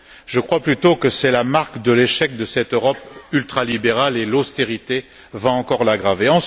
Je crois plutôt que c'est la marque de l'échec de cette Europe ultralibérale, et l'austérité va encore l'aggraver.